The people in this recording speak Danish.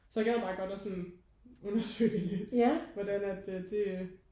Så jeg gad bare godt at sådan undersøge det lidt hvordan at det øh